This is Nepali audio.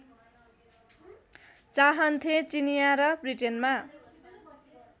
चाहन्थे चिनियाँ र ब्रिटेनमा